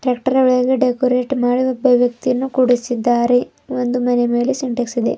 Tractor ಒಳಗಡೆ decorate ಮಾಡಿ ಒಬ್ಬ ವ್ಯಕ್ತಿಯನ್ನು ಕೂಡಿಸಿದ್ದಾರೆ ಒಂದು ಮನೆ ಮೇಲೆ ಸಿಂಟ್ಯಾಕ್ಸ್ ಇದೆ.